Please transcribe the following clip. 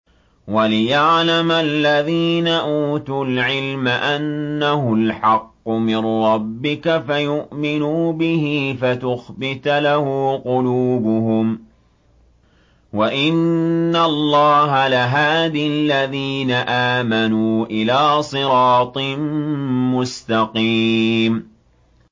وَلِيَعْلَمَ الَّذِينَ أُوتُوا الْعِلْمَ أَنَّهُ الْحَقُّ مِن رَّبِّكَ فَيُؤْمِنُوا بِهِ فَتُخْبِتَ لَهُ قُلُوبُهُمْ ۗ وَإِنَّ اللَّهَ لَهَادِ الَّذِينَ آمَنُوا إِلَىٰ صِرَاطٍ مُّسْتَقِيمٍ